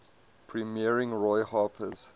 premiering roy harper's